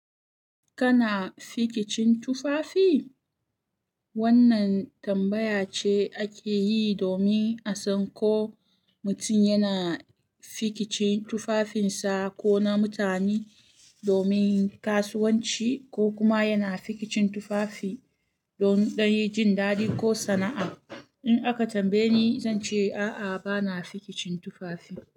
Kana fikicin tufafi? Wannan tambaya ce ake yi domin a san ko mutum yana fikicin tufafinsa ko na mutane domin kasuwanci, ko kuma yana fikicin tufafi don yin jin daɗi ko sana'a. In aka tambaye ni, zan ce a'a, bana fikicin tufafi.